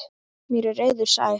Mér er eiður sær.